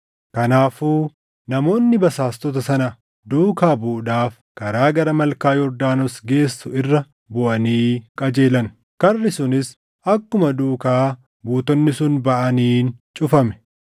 Kanaafuu namoonni basaastota sana duukaa buʼuudhaaf karaa gara malkaa Yordaanos geessu irra buʼanii qajeelan; karri sunis akkuma duukaa buutonni sun baʼaniin cufame.